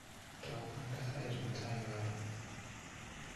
Tou banda siit mutai karon